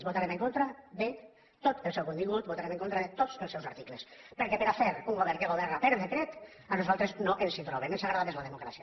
votarem en contra de tot el seu contingut votarem en contra de tots els seus articles perquè per a fer un govern que governa per decret a nosaltres no ens hi troben ens agrada més la democràcia